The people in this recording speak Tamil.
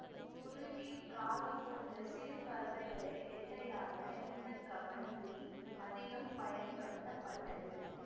குருவி காகம் போன்ற சிறு பறவைகளை வேட்டையாட இந்த கவண் வில் அதிகம் பயன்படுத்தப்பட்டது